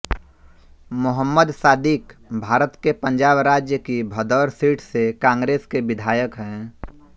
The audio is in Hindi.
मोहम्मद सादिक़ भारत के पंजाब राज्य की भदौर सीट से कांग्रेस के विधायक हैं